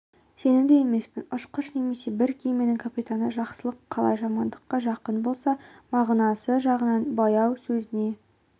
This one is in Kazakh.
сенімді емеспін ұшқыш немесе бір кеменің капитаны жақсылық қалай жамандыққа жақын болса мағынасы жағынан баяу сөзіне